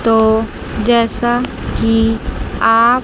तो जैसा कि आप--